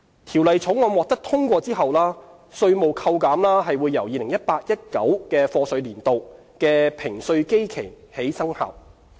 《條例草案》獲得通過後，稅務扣減由 2018-2019 課稅年度的評稅基期起生效。